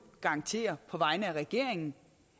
garantere på vegne af regeringen